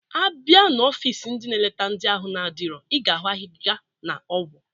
A bịa na ọfịs ndị na-eleta ndị ahụ adirọ, ị ga-ahụ agịga na ọgwụ